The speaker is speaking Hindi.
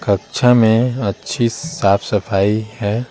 कक्षा में अच्छी साफ सफाई है।